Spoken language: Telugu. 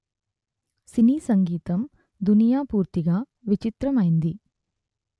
సినీ సంగీతం దునియా పూర్తిగా విచిత్రమైంది